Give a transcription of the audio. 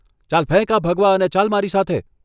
ચાલ ફેંક આ ભગવા અને ચાલ મારી સાથે.